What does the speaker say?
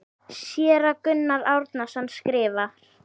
Séra Gunnar Árnason skrifar